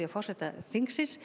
forseta þingsins